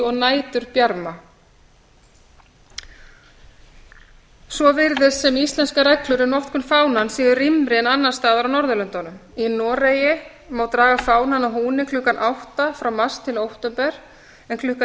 og næturbjarma svo virðist sem íslenskar reglur um notkun fánans séu rýmri en annars staðar á norðurlöndunum í noregi má draga fánann að húni klukkan átta frá mars til október en klukkan